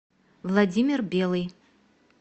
владимир белый